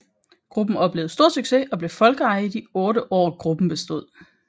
Gruppen oplevede stor succes og blev folkeeje i de 8 år gruppen bestod